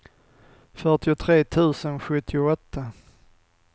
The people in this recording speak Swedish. fyrtiotre tusen sjuttioåtta